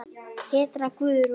Petra Guðrún.